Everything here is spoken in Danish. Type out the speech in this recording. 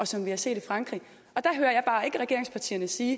som vi har set i frankrig og der hører jeg bare ikke regeringspartierne sige